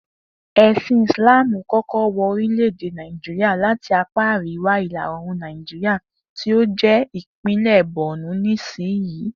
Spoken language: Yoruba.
È̩sìn Ìsláàmù kó̩kó̩ wo̩ orílè̩-èdè Nàìjíríà láti apá àríwá ìlà oòrùn Nàìjíríà tí ó jé̩ ìpínlè̩ Bornu nísiyìí